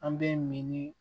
An bɛ miiri